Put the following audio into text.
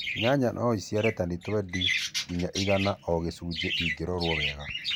Nyanya no ĩciare tani 20-100 o gĩcunjĩ cingĩrorwo wega